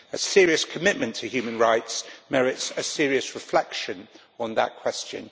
A serious commitment to human rights merits a serious reflection on that question.